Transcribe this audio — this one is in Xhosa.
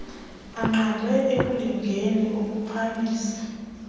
baqandwe ekulingeni ukuphamisa